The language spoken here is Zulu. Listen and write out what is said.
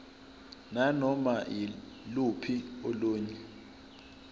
nanoma yiluphi olunye